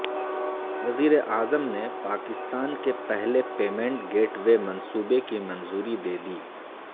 وزیر اعظم نے پاکستان کے پہلے پیمنٹ گیٹ وے منصوبے کی منظوری دے دی